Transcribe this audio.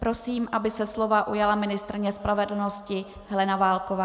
Prosím, aby se slova ujala ministryně spravedlnosti Helena Válková.